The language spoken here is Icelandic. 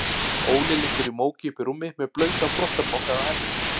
Óli liggur í móki uppí rúmi með blautan þvottapoka á enninu.